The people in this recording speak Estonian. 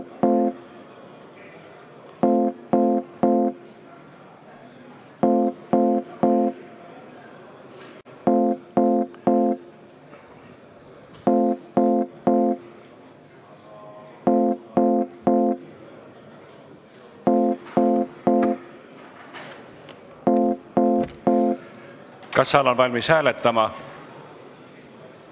Kas saal on valmis hääletama?